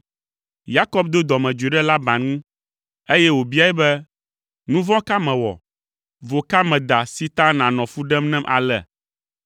Yakob do dɔmedzoe ɖe Laban ŋu, eye wòbiae be, “Nu vɔ̃ ka mewɔ? Vo ka meda si ta nànɔ fu ɖem nam ale?